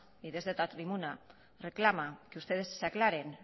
y desde esta tribuna reclama que ustedes se aclaren